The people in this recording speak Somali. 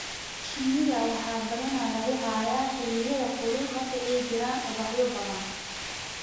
Shinnida waxaa badanaa lagu hayaa xilliyada kulul marka ay jiraan ubaxyo badan.